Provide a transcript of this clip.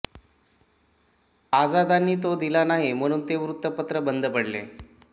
आझादांनी तो दिला नाही म्हणून ते वृत्तपत्र बंद पडले